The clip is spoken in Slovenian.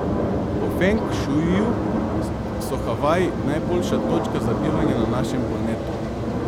Po feng šuiju so Havaji najboljša točka za bivanje na našem planetu.